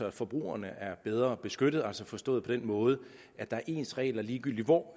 at forbrugerne er bedre beskyttet altså forstået på den måde at der er ens regler ligegyldigt hvor